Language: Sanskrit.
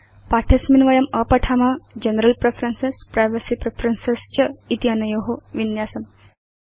पाठे अस्मिन् वयम् अपठाम जनरल प्रेफरेन्सेस् प्राइवेसी प्रेफरेन्सेस् च इति अनयो विन्यासम्